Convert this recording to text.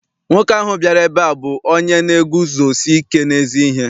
Nwoke ahụ bịara ebe a bụ onye na-eguzosike n'ezi ihe.